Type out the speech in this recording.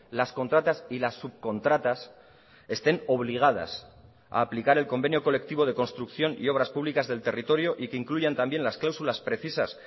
las contratas y las subcontratas estén obligadas a aplicar el convenio colectivo de construcción y obras públicas del territorio y que incluyan también las cláusulas precisas